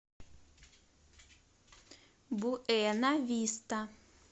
буэнависта